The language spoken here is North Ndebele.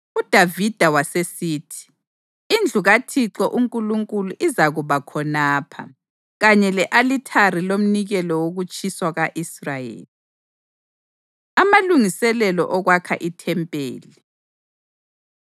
UDavida wasesithi, “Indlu kaThixo uNkulunkulu izakuba khonapha, kanye le-alithari lomnikelo wokutshiswa ka-Israyeli.” Amalungiselelo Okwakha IThempeli